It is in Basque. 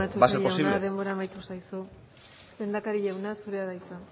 va a ser posible eskerrik asko matute jauna denbora amaitu zaizu lehendakari jauna zurea da hitza